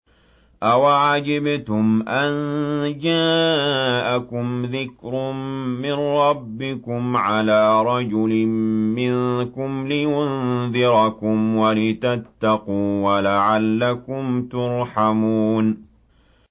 أَوَعَجِبْتُمْ أَن جَاءَكُمْ ذِكْرٌ مِّن رَّبِّكُمْ عَلَىٰ رَجُلٍ مِّنكُمْ لِيُنذِرَكُمْ وَلِتَتَّقُوا وَلَعَلَّكُمْ تُرْحَمُونَ